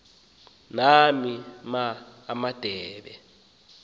nani ma adebe